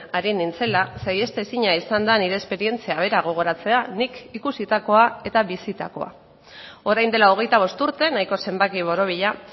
ari nintzela saihestezina izan da nire esperientzia bera gogoratzea nik ikusitakoa eta bizitakoa orain dela hogeita bost urte nahiko zenbaki borobila